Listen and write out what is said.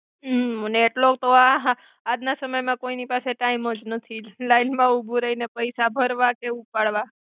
હ અને એટ્લો તો આહા આજ ના સમય મા કોઇની પાસે ટાઇમ જ નથી લાઇન મા ઉભુ રઈને પૈસા ભર્વા કે ઉપાડ્વા.